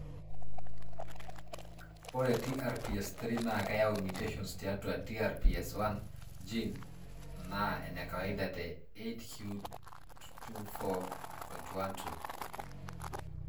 Ore TRPS3 naa keyau mutations tiatua TRPS1 gene naa enekawaida te 8q24.12.